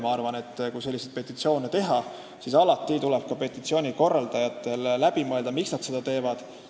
Ma arvan, et kui selliseid petitsioone koostada, siis tuleb korraldajatel alati läbi mõelda, miks nad seda teevad.